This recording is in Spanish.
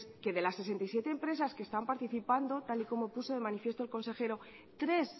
que es que de las sesenta y siete empresas que están participando tal y como puso de manifiesto el consejero tres